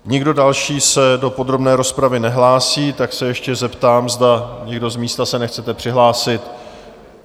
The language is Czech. Nikdo další se do podrobné rozpravy nehlásí, tak se ještě zeptám, zda někdo z místa se nechcete přihlásit?